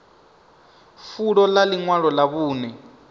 fulo ḽa ḽiṅwalo ḽa vhuṅe